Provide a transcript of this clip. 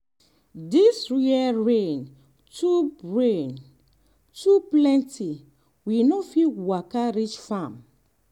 um this year rain too rain too plenty we no fit waka um reach farm.